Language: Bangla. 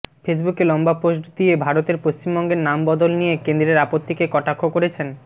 ফেসবুকে লম্বা পোস্ট দিয়ে ভারতের পশ্চিমবঙ্গের নাম বদল নিয়ে কেন্দ্রের আপত্তিকে কটাক্ষ করেছেন